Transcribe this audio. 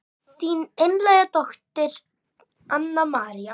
Þín einlæga dóttir Anna María.